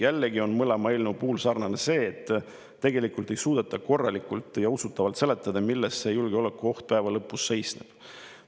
Jällegi on mõlema eelnõu puhul sarnane see, et tegelikult ei suudeta korralikult ja usutavalt seletada, milles see julgeolekuoht päeva lõpuks seisneb.